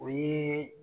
O ye